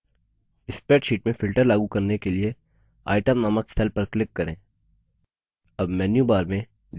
spreadsheet में filter लागू करने के लिए itemनामक cell पर click करें